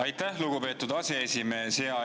Aitäh, lugupeetud aseesimees!